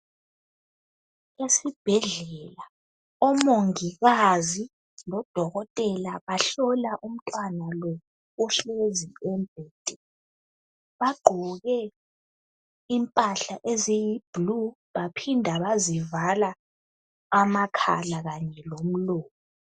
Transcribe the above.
Esibhedlela omongikazi lodokotela bahlola umntwana lo ohlezi embhedeni bagqoke impahla eziyi blue baphinda bazivala amakhala kanye lomlomo.